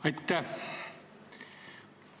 Aitäh!